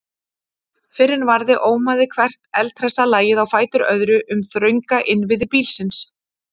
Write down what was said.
Fyrr en varði ómaði hvert eldhressa lagið á fætur öðru um þrönga innviði bílsins.